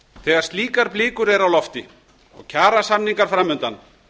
þegar slíkar blikur eru á lofti og kjarasamningar framundan